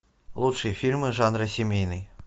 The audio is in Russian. лучшие фильмы жанра семейный